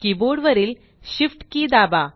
keyboard वरील Shift key दाबा